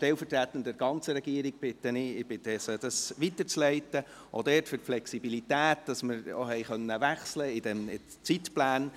Stellvertretend für die ganze Regierung bitte ich Sie, diesen Dank weiterzuleiten, auch für die Flexibilität, dass wir die Zeitpläne wechseln konnten.